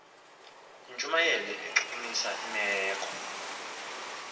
yintshumayelo echukumisa imeko